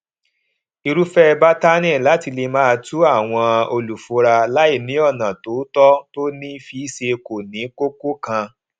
irúfẹ bátànì láti lè máa tú àwọn olùfura láì ní ọnà tòótọ tó ní fiṣe kò ní kókó kan